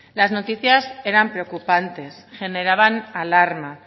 las noticias eran preocupantes generaban alarma